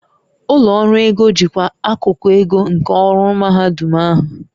Ụlọ ọrụ ego jikwaa akụkụ ego nke ọrụ mahadum ahụ